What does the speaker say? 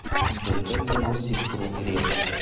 джой как зовут сестру грефа